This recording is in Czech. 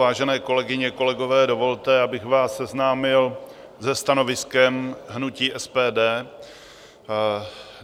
Vážené kolegyně, kolegové, dovolte, abych vás seznámil se stanoviskem hnutí SPD.